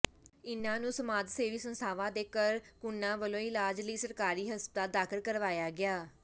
ਇਨ੍ਹਾਂ ਨੂੰ ਸਮਾਜ ਸੇਵੀ ਸੰਸਥਾਵਾਂ ਦੇ ਕਰਕੁਨਾਂ ਵੱਲੋਂ ਇਲਾਜ ਲਈ ਸਰਕਾਰੀ ਹਸਪਤਾਲ ਦਾਖਲ ਕਰਵਾਇਆ ਗਿਆ